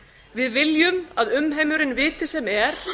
við viljum að umheimurinn viti sem er